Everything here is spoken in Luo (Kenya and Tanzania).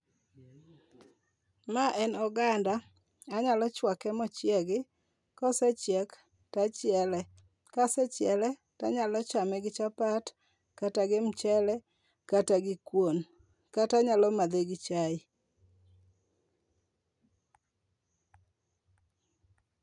Ma en oganda anyalo chwake mochiego. Kosechiek to achiele. Kasechiele to anyalo chame gi chapat kata gi michele kata gi kuon kata anyalo madhe gi chae.